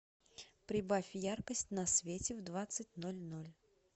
прибавь яркость на свете в двадцать ноль ноль